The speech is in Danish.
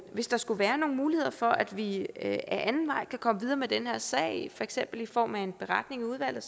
hvis der skulle være nogen muligheder for at vi ad anden vej kan komme videre med den her sag for eksempel i form af en beretning i udvalget